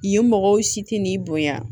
Yen mɔgɔw si tɛ n'i bonya